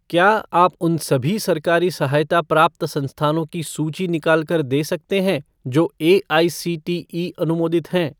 क्या आप उन सभी सरकारी सहायता प्राप्त संस्थानों की सूची निकाल कर दे सकते हैं जो एआईसीटीई अनुमोदित हैं?